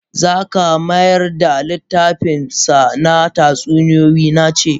Zaka mayar da littafinsa na tatsuniyoyi na ce!